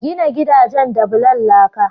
Gina gidajen da bulan laka.